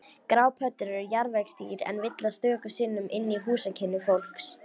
Grápöddur eru jarðvegsdýr en villast stöku sinnum inn í húsakynni fólks.